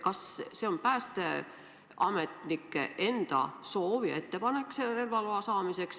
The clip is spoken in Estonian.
Kas see on päästeametnike enda soov ja ettepanek, et see relvaluba saada?